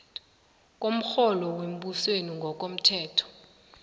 komrholo wembusweni ngokomthetho